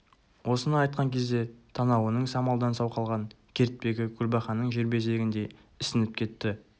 осыны айтқан кезде танауының самалдан сау қалған кертпегі көлбақаның желбезегіндей ісініп кетті